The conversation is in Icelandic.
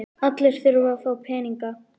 Allir þurfa að fá peninga.